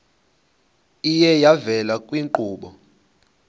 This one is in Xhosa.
iye yavela kwiinkqubo